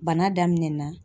Bana daminɛna